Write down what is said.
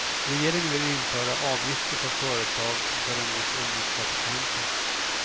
Regeringen vill införa avgifter för företag som tar emot ungdomspraktikanter.